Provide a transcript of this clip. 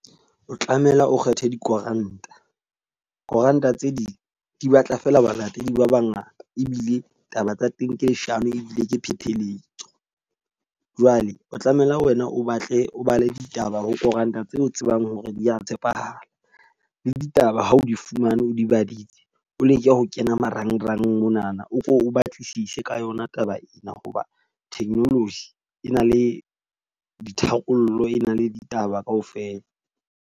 O tlameha o kgethe dikoranta. Koranta tse ding di batla fela ho balatedi ba ba ngata ebile taba tsa teng ke leshano ebile ke pheletso. Jwale o tlamehile wena o batle o bale ditaba ho koranta tse o tsebang hore di ya tshepahala. Le ditaba ha o di fumaneo di badile o leke ho kena marangrang monana o ko o batlisise ka yona taba ena. Ho ba technology e na le ditharollo, e na le ditaba ka ofela.